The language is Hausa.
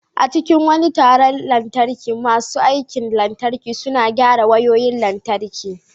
A cikin wani taron bita na lantarki, masu aikin lantarki suna gyara wayoyin lantarki.